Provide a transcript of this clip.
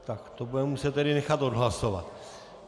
Tak to budeme muset tedy nechat odhlasovat.